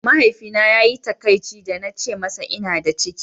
Mahaifina ya yi takaici da na ce masa ina da ciki.